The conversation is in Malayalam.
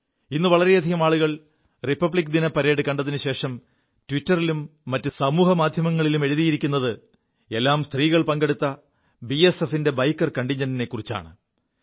ഇ് വളരെയധികം ആളുകൾ റിപ്പിക്ദിന പരേഡ് കണ്ടശേഷം ട്വിറ്ററിലും മറ്റു സമൂഹമാധ്യമങ്ങളിലും എഴുതിയിരിക്കുതെല്ലാം സ്ത്രീകൾ പങ്കെടുത്ത ബിഎസ്എഫിന്റെ ബൈക്കർ കണ്ടിൻജന്റിനെക്കുറിച്ചാണ്